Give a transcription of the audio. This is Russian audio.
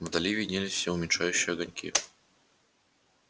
вдали виднелись все уменьшающиеся огоньки